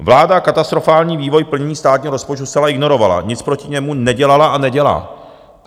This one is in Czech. Vláda katastrofální vývoj plnění státního rozpočtu zcela ignorovala, nic proti němu nedělala a nedělá.